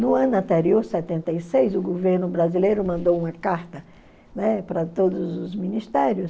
No ano anterior, setenta e seis, o governo brasileiro mandou uma carta, né, para todos os ministérios